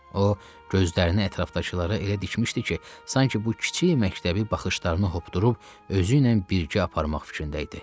O gözlərini ətrafdakılara elə dikmişdi ki, sanki bu kiçik məktəbi baxışlarına hopdurub özü ilə birgə aparmaq fikrində idi.